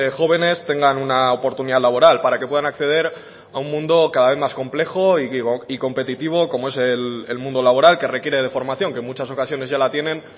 jóvenes tengan una oportunidad laboral para que puedan acceder a un mundo cada vez más complejo y competitivo como es el mundo laboral que requiere de formación que en muchas ocasiones ya la tienen